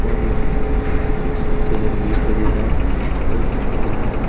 और यहां कुछ चेयर भी पड़ी है। एक स्टूल है।